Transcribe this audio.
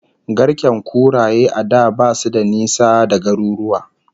Garken kuraye a da basu da nisa da garuruwa